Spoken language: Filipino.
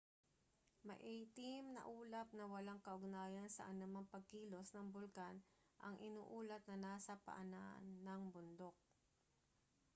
maiitim na ulap na walang kaugnayan sa anumang pagkilos ng bulkan ang iniulat na nasa paanan ng bundok